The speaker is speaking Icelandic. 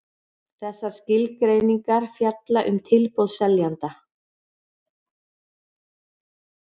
Þessar skilgreiningar fjalla um tilboð seljanda.